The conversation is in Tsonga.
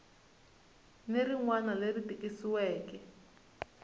ni rin wana leri tikisiweke